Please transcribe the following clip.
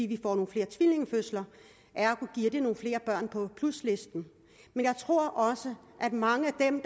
vi får nogle flere tvillingefødsler ergo giver det nogle flere børn på pluslisten men jeg tror også at mange af dem